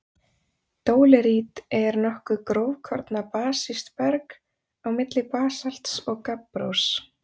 Dólerít er nokkuð grófkorna basískt berg- á milli basalts og gabbrós.